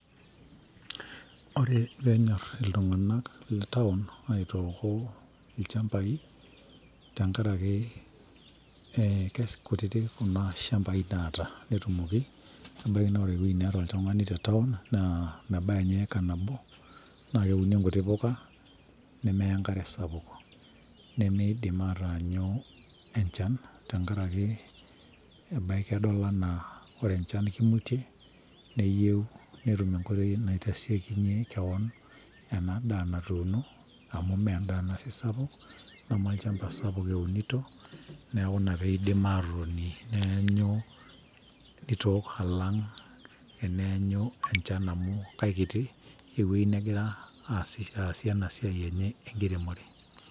ore peenyorr iltung'anak le town aitooko ilchambai naa tenkarake ee kikutitik kuna shambai naata netumoki ebaiki naa ore ewueji neeta oltung'ani te town naa mebaya ninye eika nabo naa keuni nkuti puka nemeya enkare sapuk nimiidim aatanyu enchan tenkarake ebaiki edol enaa ore enchan naa kimutie neyieu netum enkoitoi naitashekinyie kewon ena daa natuuno amu meendaa ena sii sapuk neme olchamba sapuk eunito neeku ina piidim atotoni neenyu nitook alang eneenyu enchan amu kaikiti ewueji negira aasie ena siai enye enkiremore.